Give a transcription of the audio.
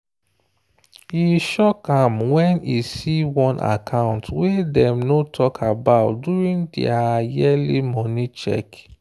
e shock am when e see one account wey dem no talk about during their yearly money check.